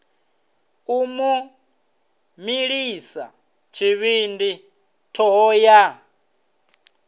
u mu milisa tshivhindi thohoyanḓ